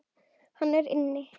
Hann er inni.